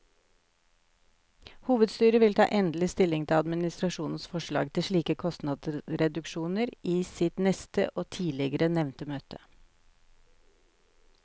Hovedstyret vil ta endelig stilling til administrasjonens forslag til slike kostnadsreduksjoner i sitt neste og tidligere nevnte møte.